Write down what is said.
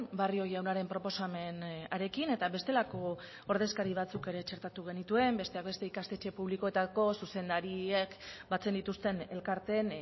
barrio jaunaren proposamen harekin eta bestelako ordezkari batzuk ere txertatu genituen besteak beste ikastetxe publikoetako zuzendariek batzen dituzten elkarteen